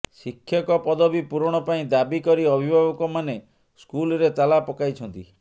ଶିକ୍ଷକ ପଦବୀ ପୂରଣ ପାଇଁ ଦାବି କରି ଅଭିଭାବକ ମାନେ ସ୍କୁଲରେ ତାଲା ପକାଇଛନ୍ତି